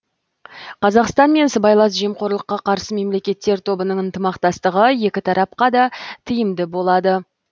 қазақстан мен сыбайлас жемқорлыққа қарсы мемлекеттер тобының ынтымақтастығы екі тарапқа да тиімді болады